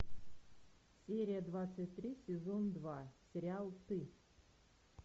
серия двадцать три сезон два сериал ты